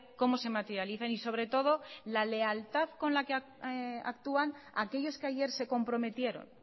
cómo se materializan y sobre todo la lealtad con la que actúan aquellos que ayer se comprometieron